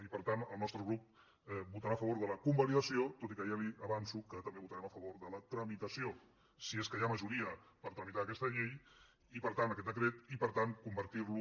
i per tant el nostre grup votarà a favor de la convalidació tot i que ja li avanço que també votarem a favor de la tramitació si és que hi ha majoria per tramitar aquesta llei i per tant aquest decret i per tant convertir lo